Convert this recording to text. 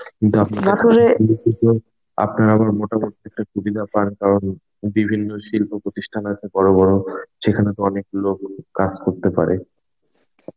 কিন্তু আপনার আবার মোটামুটি একটা সুবিধা পান কারণ বিভিন্ন শিল্প প্রতিষ্ঠান আছে বড় বড় সেখানে তো অনেক লোক কাজ করতে পারে.